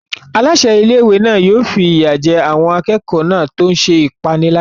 Aláṣẹ ilé-ìwé náà yóò fi ìyà jẹ àwọn akẹ́kọ̀ọ́ náà tó ń ṣe ìpániláyà.